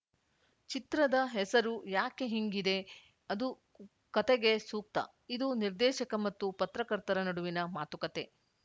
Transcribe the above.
ಚಿತ್ರದ ಹೆಸರು ಯಾಕೆ ಹಿಂಗಿದೆ ಅದು ಕತೆಗೆ ಸೂಕ್ತ ಇದು ನಿರ್ದೇಶಕ ಮತ್ತು ಪತ್ರಕರ್ತರ ನಡುವಿನ ಮಾತುಕತೆ